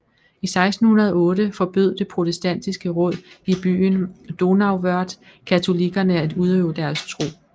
I 1608 forbød det protestantiske råd i byen Donauwörth katolikkerne at udøve deres tro